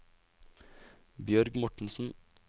Bjørg Mortensen